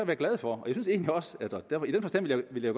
være glade for og i den forstand vil jeg